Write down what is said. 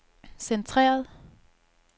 centreret